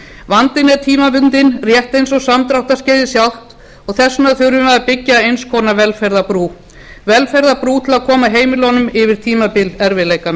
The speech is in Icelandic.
vandinn er tímabundinn rétt eins og samdráttarskeiðið sjálft og þess vegna þurfum við að byggja eins konar velferðarbrú velferðarbrú til að koma heimilunum yfir tímabil erfiðleikanna